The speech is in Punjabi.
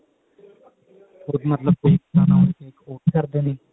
ਮਤਲਬ ਕੋਈ ਬਣਾਉਣਾ ਹੋਵੇ cake order ਕਰਦੇ ਨੇ